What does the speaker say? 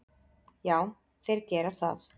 Já, þeir gera það.